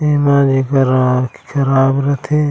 एमा में एकर आँख ख़राब रथे।